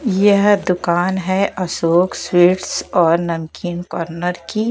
यह दुकान है अशोक स्वीट्स और नमकीन कॉर्नर की--